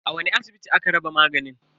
A wani asibiti aka raba maganin?